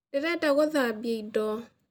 Ndĩrenda gũthambia indo